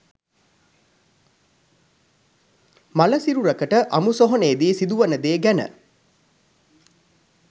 මළසිරුරකට අමු සොහොනේදි සිදුවෙන දේ ගැන